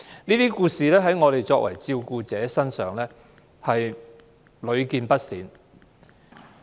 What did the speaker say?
這些故事在我們作為照顧者的身上屢見不鮮。